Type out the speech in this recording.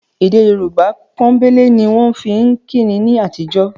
Èdè Yorùbá pọ́nbélé ni wọ́n fi ń kíni ní àtijọ́